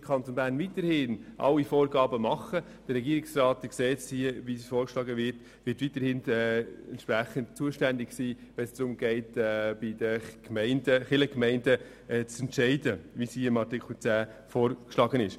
Der Kanton Bern wird weiterhin Vorgaben machen, und der Regierungsrat wird auch in Zukunft zuständig sein, wenn es darum geht, bei den Kirchgemeinden Entscheide zu fällen, so wie es im Artikel 10 vorgeschlagen wird.